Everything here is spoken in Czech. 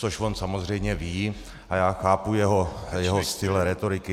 Což on samozřejmě ví a já chápu jeho styl rétoriky.